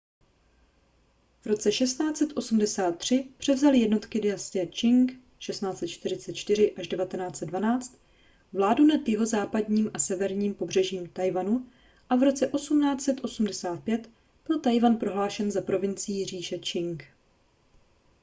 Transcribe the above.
v roce 1683 převzaly jednotky dynastie čching 1644–1912 vládu nad jihozápadním a severním pobřežím tchaj-wanu a v roce 1885 byl tchaj-wan prohlášen za provincii říše čching